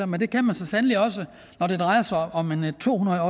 men det kan man så sandelig også når det drejer sig om en to hundrede